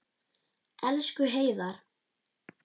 Elsku Heiðar.